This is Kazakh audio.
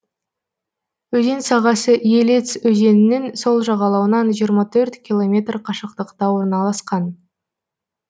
өзен сағасы елец өзенінің сол жағалауынан жиырма төрт километр қашықтықта орналасқан